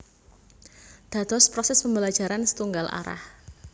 Dados proses pembelajaran setunggal arah